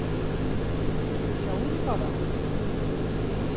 Sjáiði bara!